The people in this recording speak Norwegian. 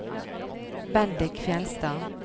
Bendik Fjellstad